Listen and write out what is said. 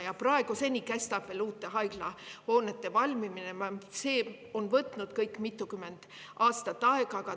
Ja uute haiglahoonete valmimine kestab praeguseni, see kõik on võtnud mitukümmend aastat aega.